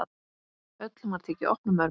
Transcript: Öllum var tekið opnum örmum.